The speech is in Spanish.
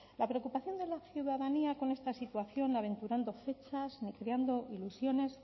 la preocupación de la ciudadanía con esta situación aventurando fechas ni creando ilusiones